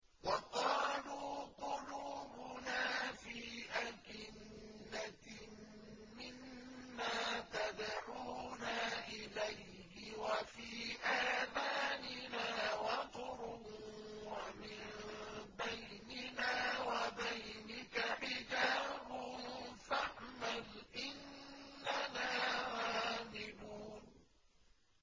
وَقَالُوا قُلُوبُنَا فِي أَكِنَّةٍ مِّمَّا تَدْعُونَا إِلَيْهِ وَفِي آذَانِنَا وَقْرٌ وَمِن بَيْنِنَا وَبَيْنِكَ حِجَابٌ فَاعْمَلْ إِنَّنَا عَامِلُونَ